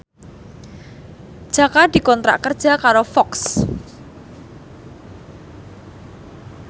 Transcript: Jaka dikontrak kerja karo Fox